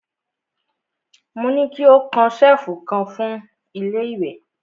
Mo ní ki ó kan ṣẹ̀lfù kan fún ilé ìwẹ̀!